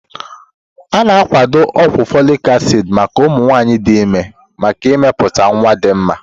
A na akwado ogwu folic acid maka ụmụ nwanyị dị ime maka imepụta nwa dị mma.